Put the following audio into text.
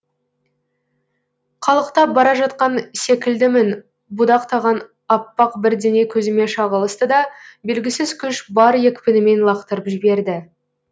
қалықтап бара жатқан секілдімін будақтаған аппақ бірдеңе көзіме шағылысты да белгісіз күш бар екпінімен лақтырып жіберді